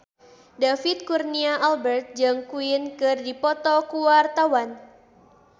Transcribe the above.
David Kurnia Albert jeung Queen keur dipoto ku wartawan